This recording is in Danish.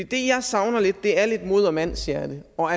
det jeg savner lidt er lidt mod og mandshjerte og